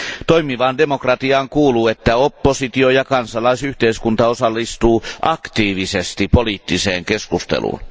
Toimivaan demokratiaan kuuluu, että oppositio ja kansalaisyhteiskunta osallistuvat aktiivisesti poliittiseen keskusteluun.